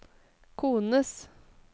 kones